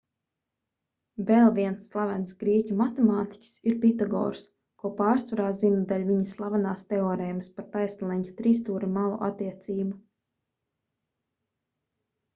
vēl viens slavens grieķu matemātiķis ir pitagors ko pārsvarā zina dēļ viņa slavenās teorēmas par taisnleņķa trijstūra malu attiecību